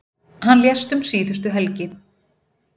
Hann lést um síðustu helgi.